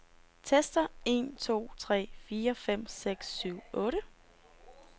Tester en to tre fire fem seks syv otte.